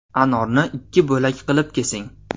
Anorni ikki bo‘lak qilib kesing.